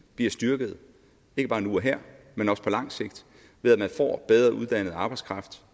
bliver styrket ikke bare nu og her men også på lang sigt ved at man får bedre uddannet arbejdskraft